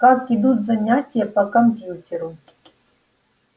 как идут занятия по компьютеру